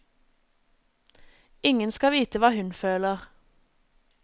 Ingen skal vite hva hun føler.